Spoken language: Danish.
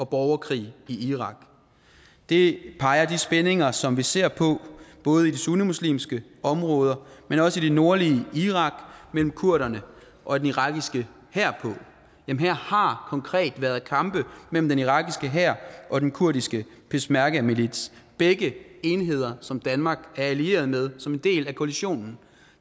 borgerkrig i irak det peger de spændinger som vi ser på både i de sunnimuslimske områder men også i det nordlige irak mellem kurderne og den irakiske hær her har konkret været kampe mellem den irakiske hær og den kurdiske peshmergamilits begge enheder som danmark er allieret med som en del af koalitionen